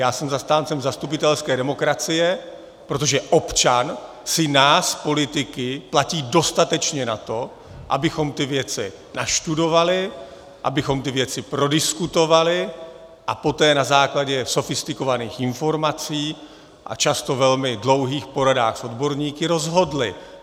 Já jsem zastáncem zastupitelské demokracie, protože občan si nás politiky platí dostatečně na to, abychom ty věci nastudovali, abychom ty věci prodiskutovali a poté na základě sofistikovaných informací a často velmi dlouhých porad s odborníky rozhodli.